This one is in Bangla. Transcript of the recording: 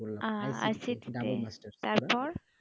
করলাম ICTC তে তার পর